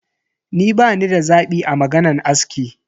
Ni bani da zabi a maganan aski.